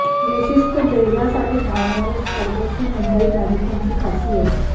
विशिष्ट ध्येयासाठी धावणारे स्पर्धक ही मुंबई मॅरेथॉनची खासियत